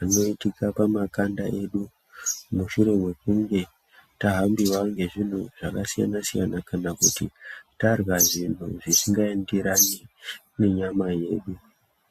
anoitika pamakanda edu mushure mekunge tahambiwa nenzvinhu zvakasiyana siyana kana kuti tarya zviro zvisingaenderani nenyama yedu.